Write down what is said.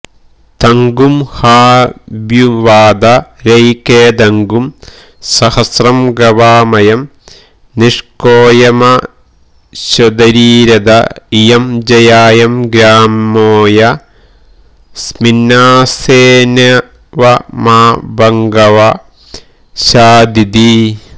തഗുംഹാഭ്യുവാദ രയിക്വേദഗും സഹസ്രം ഗവാമയം നിഷ്കോയമശ്വതരീ രഥ ഇയം ജായായം ഗ്രാമോയസ്മിന്നാസ്സേന്ന്വേവമാഭഗവഃ ശാധീതി